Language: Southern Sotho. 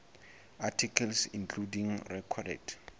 articles including recorded